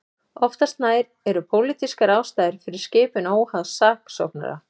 Oftast nær eru pólitískar ástæður fyrir skipun óháðs saksóknara.